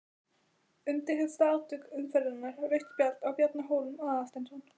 Umdeildasta atvik umferðarinnar: Rautt spjald á Bjarna Hólm Aðalsteinsson?